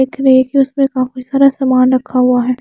एक रेक है उसपे काफी सारा सामान रखा हुआ है।